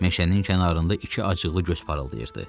Meşənin kənarında iki acıqlı göz parıldayırdı.